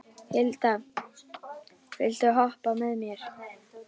Hilda, viltu hoppa með mér?